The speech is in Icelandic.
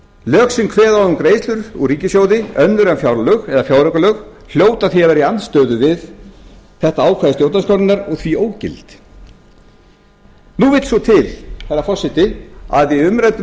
lög sem kveða á um greiðslur úr ríkissjóði önnur en fjárlög eða fjáraukalög hljóta því að vera í andstöðu við þetta ákvæði stjórnarskrárinnar og því ógild nú vill svo til herra forseti að í umræddum